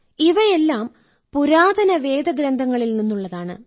ഇവയെല്ലാം പുരാതന വേദഗ്രന്ഥങ്ങളിൽ നിന്നുള്ളതാണ്